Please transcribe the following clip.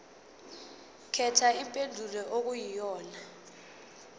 khetha impendulo okuyiyona